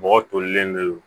Bɔgɔ tolilen do